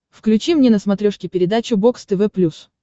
включи мне на смотрешке передачу бокс тв плюс